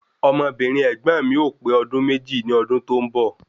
Ọmọbìnrin ẹ̀gbọ́n mi o pe ọdún méjì ní ọdún tó ń bọ̀